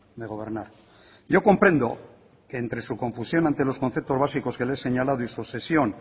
de gobernar yo comprendo que entre su confusión ante los conceptos básicos que le he señalado y su obsesión